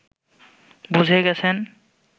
বুঝে গেছেন